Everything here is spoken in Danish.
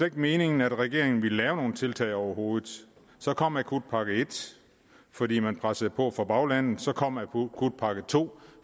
ikke meningen at regeringen ville lave nogle tiltag overhovedet så kom akutpakke en fordi man pressede på fra baglandets side så kom akutpakke to